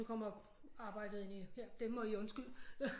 Nu kommer arbejdet ind i det må I undskylde